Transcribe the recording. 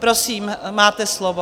Prosím, máte slovo.